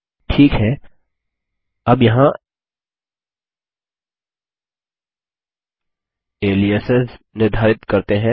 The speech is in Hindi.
ठीक है अब यहाँ एलियासेस निर्धारित करते हैं